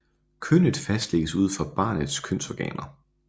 Kønnet fastlægges ud fra barnets kønsorganer